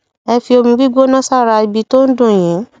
ẹ fi omi gbígbóná sára ibi tó ń dùn yín